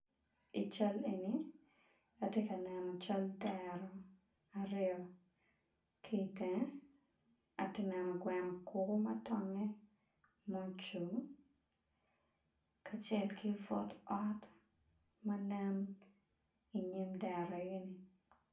I cal eni atye ka neno cal dero aryo kitenge atye neno gweno kulu ma tonge ma ocung kacel ki pud ot manen inyim dero eni.